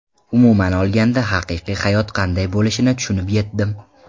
Umuman olganda, haqiqiy hayot qanday bo‘lishini tushunib yetdim.